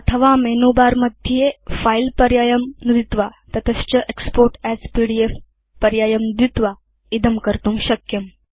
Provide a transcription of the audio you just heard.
अथवा मेनुबारमध्ये फिले पर्यायं नुदित्वा तत च एक्स्पोर्ट् अस् पीडीएफ पर्यायं नुदित्वा इदं कर्तुं शक्यम्